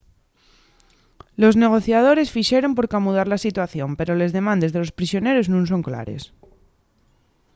los negociadores fixeron por camudar la situación pero les demandes de los prisioneros nun son clares